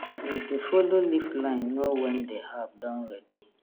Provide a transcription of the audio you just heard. we dey follow leaf line know when the herb don ready